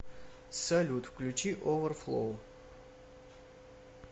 салют включи оверфлоу